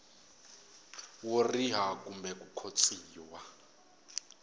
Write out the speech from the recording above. wo riha kumbe ku khotsiwa